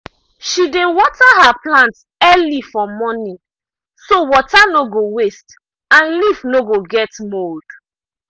she dey water her plants early for morning so water no go waste and leaf no go get mold.